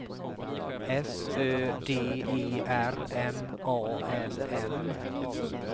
S Ö D E R M A L M